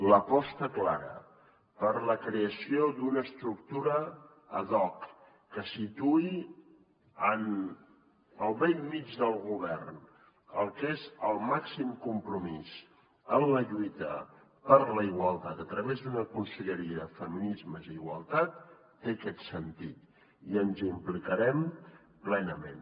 l’aposta clara per la creació d’una estructura ad hoc que situï en el bell mig del govern el que és el màxim compromís en la lluita per la igualtat a través d’una conselleria de feminismes i d’igualtat té aquest sentit i ens hi implicarem plenament